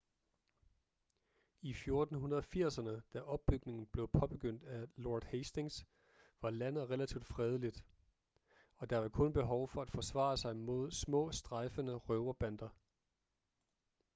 i 1480'erne da opbygningen blev påbegyndt af lord hastings var landet relativt fredeligt og der var kun behov for at forsvare sig mod små strejfende røverbander